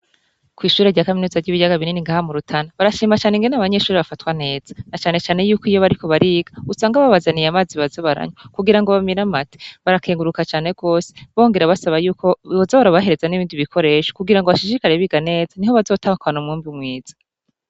Kw'ishuri rya kaminuza ry'ibiryaga binini ngaha mu rutana barashima cane ngene abanyeshuri bafatwa neza na canecane yuko iyo bariko bariga usanga babazaniye amazi bazabaranywa kugira ngo bamiramate barakenguruka cane rwose bongera basaba yuko boza barabahereza n'ibindi bikoresha kugira ngo bashishikare biga neza ni ho bazotahkwana umwumbi umwiza.